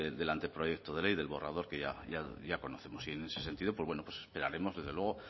del anteproyecto de ley del borrador que ya conocemos y en ese sentido pues bueno pues esperaremos desde luego